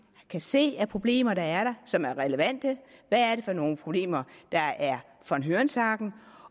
kan se af problemer der er der som er relevante hvad er det for nogle problemer der er von hörensagen